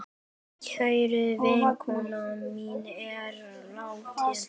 Kær vinkona mín er látin.